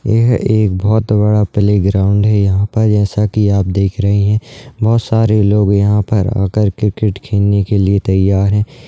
यह एक बहोत बड़ा प्ले ग्राउन्ड है यहाँ पर जैसा की आप देख रहे हैं बहोत सारे लोग यहाँ पर आकर क्रिकेट खेलने के लिए तैयार है।